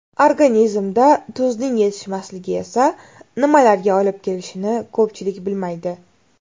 Organizmda tuzning yetishmasligi esa nimalarga olib kelishini ko‘pchilik bilmaydi.